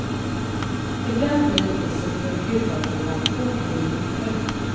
Ibland blir priset för gudagåvan orimligt högt.